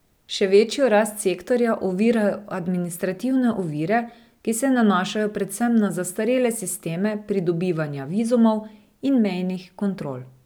Še večjo rast sektorja ovirajo administrativne ovire, ki se nanašajo predvsem na zastarele sisteme pridobivanja vizumov in mejnih kontrol.